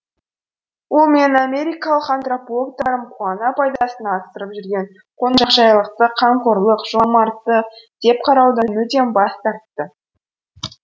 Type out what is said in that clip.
ол менің америкалық антропологтарым қуана пайдасына асырып жүрген қонақжайлықты қамқорлық жомарттық деп қараудан мүлдем бас тарты